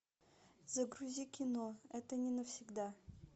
загрузи кино это не навсегда